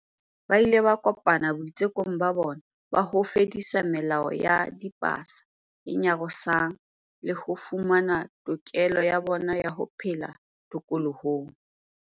Ba ile ba kopana boitsekong ba bona ba ho fedisa melao ya dipasa e nyarosang le ho fumana tokelo ya bona ya ho phela tokolohong.